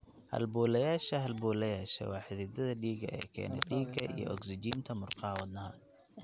Halbowlayaasha halbowlayaasha waa xididdada dhiigga ee keena dhiigga iyo ogsijiinta murqaha wadnaha.